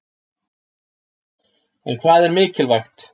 En hvað er mikilvægt?